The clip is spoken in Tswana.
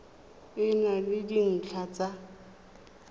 e na le dintlha tsa